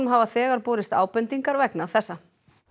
hafa þegar borist ábendingar vegna þessa